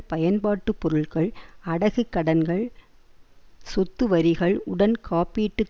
பயன்பாட்டுப் பொருட்கள் அடகு கடன்கள் சொத்துவரிகள் உடன் காப்பீட்டு